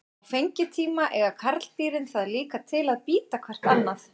Á fengitíma eiga karldýrin það líka til að bíta hvert annað.